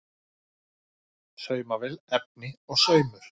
Saumavél, efni og saumur.